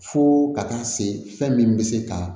Fo ka taa se fɛn min bɛ se ka